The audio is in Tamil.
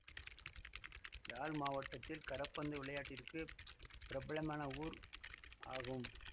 யாழ் மாவட்டத்தில் கரப்பந்து விளையாட்டிற்கு பிரபலமான ஊர் ஆகும்